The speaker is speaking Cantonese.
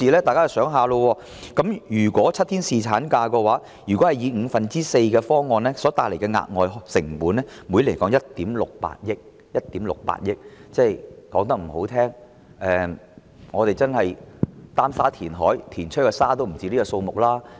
大家想一想，如果是7天侍產假，以支薪五分之四的方案來計算，每年所帶來的額外成本是1億 6,800 萬元；說得難聽一點，我們擔沙填海，填出來的沙也不止這個數目。